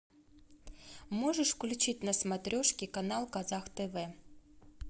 можешь включить на смотрешке канал казах тв